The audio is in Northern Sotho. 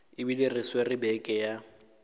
ebile re swere beke ya